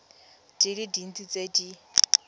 di le dintsi tse di